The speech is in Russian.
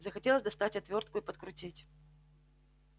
захотелось достать отвёртку и подкрутить